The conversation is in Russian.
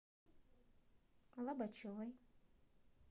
лобачевой